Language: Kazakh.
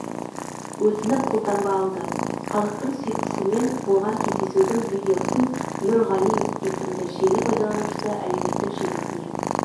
өтініп қолтаңба алды халықтың сүйіктісімен болған кездесудің видеосын нұр ғали есімді желі пайдаланушы әлеуметтік желісіне